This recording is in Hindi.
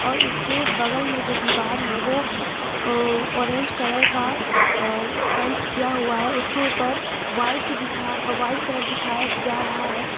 और इसके बगल में जो दीवार है वो अ अ ऑरेंज कलर का पेंट किया हुआ है उसके ऊपर वाइट दिखा व्हाइट कलर दिखाया जा रहा है।